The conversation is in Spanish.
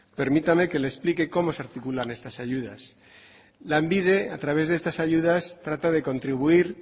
permítame que le explique cómo se articulan estas ayudas lanbide a través de estas ayudas trata de contribuir